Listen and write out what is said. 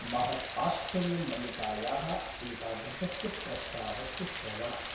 महत् आश्चर्यं मल्लिकायाः एतादृशस्य प्रस्तावस्य श्रवणात् ।